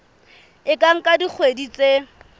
e ka nka dikgwedi tse